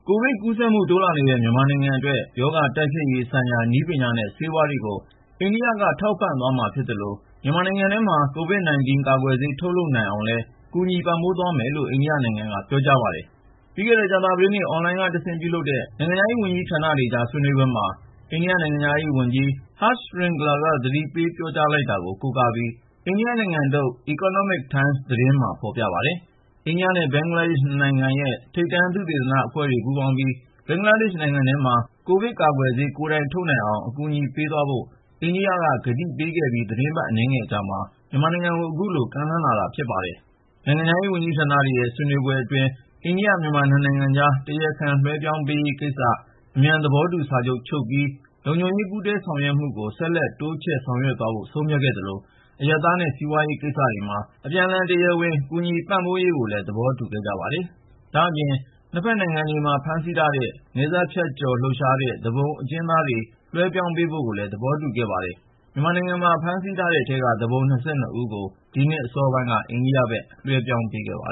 ကိုဗစ်ကူးစက်မှု တိုးလာနေတဲ့ မြန်မာနိုင်ငံအတွက် ရောဂါတိုက်ဖျက်ရေးဆိုင်ရာ နည်းပညာနဲ့ ဆေးဝါးတွေကို အိန္ဒိယက ထောက်ပံ့သွားမှာ ဖြစ်သလို မြန်မာနိုင်ငံထဲမှာ COVID-19 ကာကွယ်ဆေး ထုတ်လုပ်နိုင်အောင်လည်း ကူညီပံ့ပိုးပေးသွားမယ်လို့ အိန္ဒိယနိုင်ငံက ပြောကြားလိုက်ပါတယ်။ ပြီးခဲ့တဲ့ ကြာသပတေးနေ့ အွန်လိုင်းကတဆင့် ပြုလုပ်တဲ့ နိုင်ငံခြားရေးဝန်ကြီးဌာနတွေကြား ဆွေးနွေပွဲမှာ အိန္ဒိယ နိုင်ငံခြားရေးအတွင်းဝန် Harsh Shringla က ကတိပေး ပြောကြားလိုက်တာ ဖြစ်ပါတယ်။ အိန္ဒိယနဲ့ ဘင်္ဂလားဒေ့ရှ် နှစ်နိုင်ငံရဲ့ ထိပ်တန်း သုတေသနအဖွဲ့တွေ ပူးပေါင်းပြီး ဘင်္ဂလားဒေ့ရှ်နိုင်ငံထဲမှာ ကိုဗစ်ကာကွယ်ဆေး ကိုယ်တိုင်ထုတ်နိုင်အောင် အကူအညီပေးသွားဖို့ အိန္ဒိယက ကတိပေးခဲ့ပြီး သီတင်းပတ် အနည်းငယ်အကြာမှာ မြန်မာနိုင်ငံကို အခုလို ကမ်းလှမ်းလာတာ ဖြစ်ပါတယ်။ နိုင်ငံခြားရေး ဝန်ကြီးဌာတွေရဲ့ ဆွေးနွေးပွဲအတွင်း အိန္ဒိယ-မြန်မာ နှစ်နိုင်ငံကြား တရားခံလွဲှပြောင်းပေးရေးကိစ္စ အမြန် သဘောတူစာချုပ် ချုပ်ပြီး လုံခြုံရေး ပူးတွဲဆောင်ရွက်မှုကို ဆက်လက်တိုးချဲ့ လုပ်ဆောင်သွားဖို့ ဆုံးဖြတ်ခဲ့သလို အရပ်သားနဲ့ စီးပွားရေးကိစ္စတွေမှာ အပြန်အလှန် တရားဝင် ကူညီပံ့ပိုးရေးကိုလည်း သဘောတူခဲ့ကြပါတယ်။ ဒါ့အပြင် နှစ်ဖက်နိုင်ငံတွေမှာ ဖမ်းဆီးထားတဲ့ နယ်စပ်ဖြတ်ကျော်လှုပ်ရှားတဲ့ သူပုန်အကျဉ်းသားတွေ လွှဲပြောင်းပေးဖို့ကိုလည်း သဘောတူခဲ့ပါတယ်။ မြန်မာနိုင်ငံမှာ ဖမ်းဆီးထားတဲ့အထဲက သူပုန် ၂၂ ဦးကို ဒီနှစ် အစောပိုင်းက အိန္ဒိယဘက် လွှဲပြောင်းပေးခဲ့ပါ